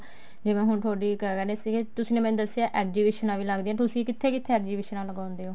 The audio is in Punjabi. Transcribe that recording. ਜਿਵੇਂ ਹੁਣ ਤੁਹਾਡੀ ਕਿਆ ਕਹਿਨੇ ਆ ਤੁਸੀਂ ਨੇ ਮੈਨੂੰ ਦਸਿਆ exhibition ਵੀ ਲੱਗਦੀਆਂ ਨੇ ਤੁਸੀਂ ਕਿੱਥੇ ਕਿੱਥੇ exhibition ਲਗਾਉਂਦੇ ਹੋ